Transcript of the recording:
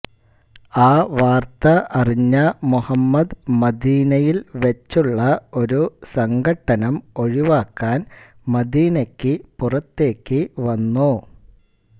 ആ വാർത്ത അറിഞ്ഞ മുഹമ്മദ് മദീനയിൽ വെച്ചുള്ള ഒരു സംഘട്ടനം ഒഴിവാക്കാൻ മദീനക്കു പുറത്തേക്കു വന്നു